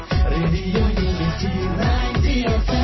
radio unity ninety एफ्एम्2